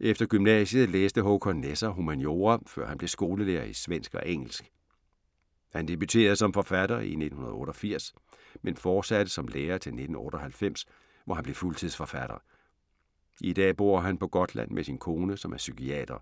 Efter gymnasiet læste Håkan Nesser humaniora før han blev skolelærer i svensk og engelsk. Han debuterede som forfatter i 1988, men fortsatte som lærer til 1998, hvor han blev fuldtidsforfatter. I dag bor han på Gotland med sin kone, som er psykiater.